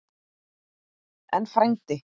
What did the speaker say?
En, frændi